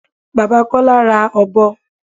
Bàbá Kọ́lá ra ọ̀bọ.